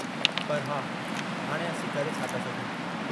पर हा, हाणे असीं करे छा था सघूं?